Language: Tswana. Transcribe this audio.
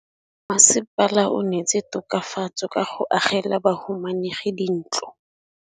Mmasepala o neetse tokafatsô ka go agela bahumanegi dintlo.